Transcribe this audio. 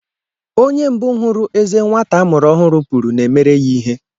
Onye mbụ hụrụ eze nwata a mụrụ ọhụrụ puru na-emere ya ihe